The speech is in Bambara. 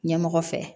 Ɲɛmɔgɔ fɛ